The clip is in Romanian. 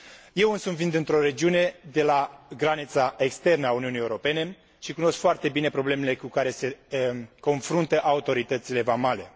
Eu însumi vin dintr o regiune de la granița externă a Uniunii Europene și cunosc foarte bine problemele cu care se confruntă autoritățile vamale.